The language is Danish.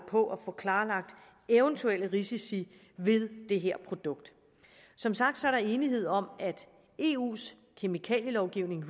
på at få klarlagt eventuelle risici ved det her produkt som sagt er der enighed om at eus kemikalielovgivning